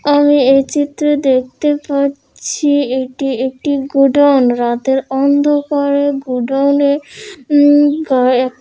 আমি এই চিত্র দেখতে পাচ্ছি এটি একটি গোডাউন রাতের অন্ধকারে গোডাউন -এ --